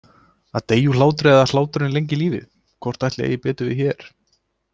Að deyja úr hlátri eða hláturinn lengir lífið- hvort ætli eigi betur við hér?